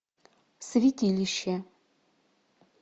святилище